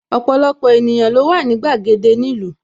Ọpọlọpọ ènìyàn ló wà ní gbàgede ni ìlú